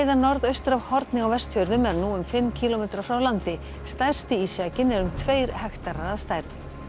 norðaustur af Horni á Vestfjörðum er nú um fimm kílómetra frá landi stærsti ísjakinn er um tveir hektarar að stærð